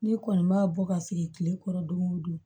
Ne kɔni ma bɔ ka sigi kile kɔrɔ don o don